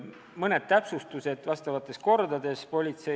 Mõned täpsustused asjaomastes kordades tuleb küll teha.